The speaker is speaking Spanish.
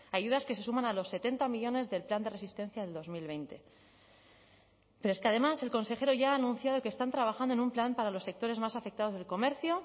ayudas que se suman a los setenta millónes del plan de resistencia del dos mil veinte pero es que además el consejero ya ha anunciado que están trabajando en un plan para los sectores más afectados del comercio